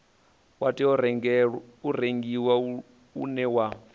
wa tou rengiwa une wa